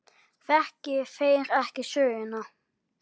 Þekki þeir ekki söguna.